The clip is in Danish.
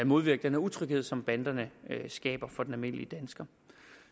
modvirke den utryghed som banderne skaber for den almindelige dansker